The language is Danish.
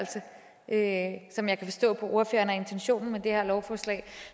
da ikke som jeg kan forstå på ordføreren er intentionen med det her lovforslag